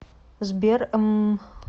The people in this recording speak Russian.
сбер эмм